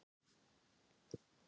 Hvað gerðist á páskadag?